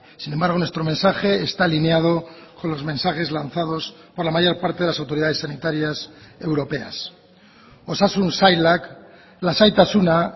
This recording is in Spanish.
sin embargo nuestro mensaje está alineado con los mensajes lanzados por la mayor parte de las autoridades sanitarias europeas osasun sailak lasaitasuna